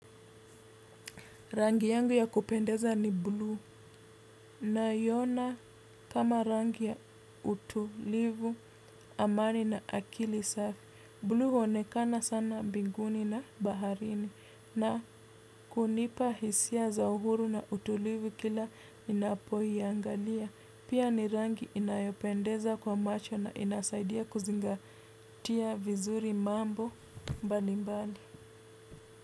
Rangi yangu ninayoipenda ni bluu na ninaiona kama rangi ya utulivu, amani na akili safi. Bluu huonekana sana binguni na baharini na hunipa hisia za uhuru na utulivu kila ninapoiangalia. Pia ni rangi inayopendeza kwa macho na inasaidia kuzingatia vizuri mambo mbalimbali.